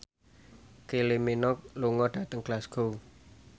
Kylie Minogue lunga dhateng Glasgow